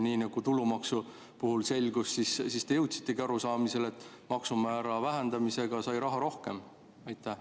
Nii nagu tulumaksu puhul selgus, te jõudsite arusaamisele, et maksumäära vähendamisega sai rohkem raha.